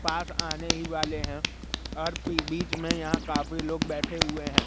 पास आने ही वाले हैं और बीच में यहां काफी लोग बैठे हुए हैं।